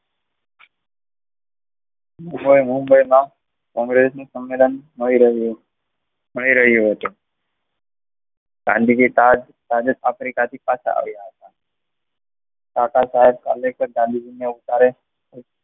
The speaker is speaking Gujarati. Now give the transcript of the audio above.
મુંબઈમાં કોંગ્રેસનો સંમેલન મળી ગયો હતો ગાંધીજી પાછા સાઉથ આફ્રિકાથી આવ્યા બાબા સાહેબ આંબેડકર ગાંધીજીને ઉપકાર્ય